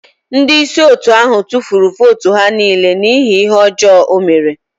Ndị isi otu ahụ tụfuru votu ha niile n'ihi ihe ọjọọ o mere.